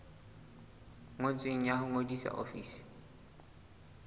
ngotsweng ya ho ngodisa ofising